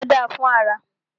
Èso da fún ara.